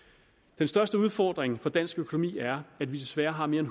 den største udfordring for dansk økonomi er at vi desværre har mere end